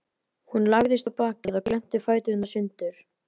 Hún lagðist á bakið og glennti fæturna sundur.